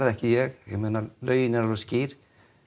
ekki ég ég meina lögin eru alveg skýr